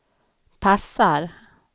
passar